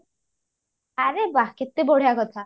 ଆରେ ବାଃ କେତେ ବଢିଆ କଥା